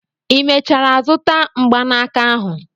ị mechara zụta mgbanaka ahụ?